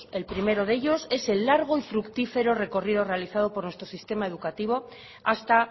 el primero de ellos es el largo y fructífero recorrido realizado por nuestro sistema educativo hasta